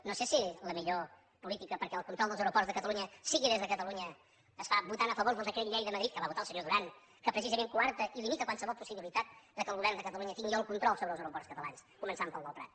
no sé si la millor política perquè el control dels aeroports de catalunya sigui des de catalunya es fa votant a favor del decret llei de madrid que va votar el senyor duran que precisament coarta i limita qualsevol possibilitat que el govern de catalunya tingui el control sobre els aeroports catalans començant pel del prat